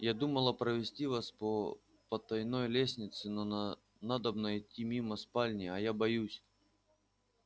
я думала провести вас по потайной лестнице но на надобно идти мимо спальни а я боюсь